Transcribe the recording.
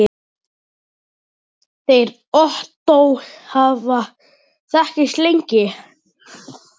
Þeir Ottó hafa þekkst lengi.